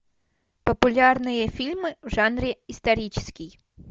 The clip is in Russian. популярные фильмы в жанре исторический